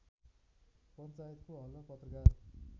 पञ्चायतको हलमा पत्रकार